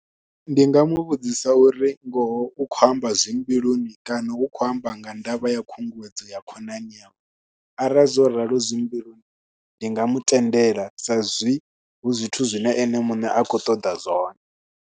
Ndi nga mu vhudzisa uri ngoho u khou amba zwi mbiluni kana hu khou amba nga ndavha ya khunguwedzo ya khonani nyawe arali zwo raloho zwi mbiluni ndi nga mu tendela sa zwi hu zwithu zwine ene muṋe a khou ṱoḓa zwone.